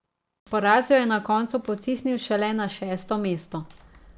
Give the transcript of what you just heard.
Poraz jo je na koncu potisnil šele na šesto mesto.